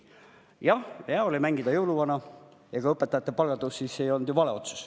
Jah, hea oli mängida jõuluvana ja ega õpetajate palga tõus ei olnud ju vale otsus.